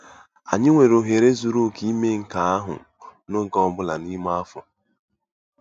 Anyị nwere ohere zuru oke ime nke ahụ n'oge ọ bụla n'ime afọ.